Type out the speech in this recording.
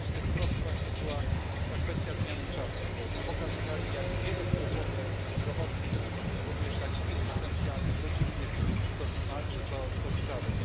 Jedną z tych trosk właśnie była ta kwestia zmiany czasu, bo pokazywano, jak wiele kłopotów, w tym zdrowotnych, również takich egzystencjalnych, rodzinnych to sprawia.